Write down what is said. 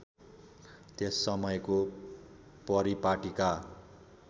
त्यस समयको परिपाटीका